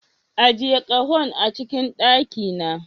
Ajiye kahon a cikin daki na.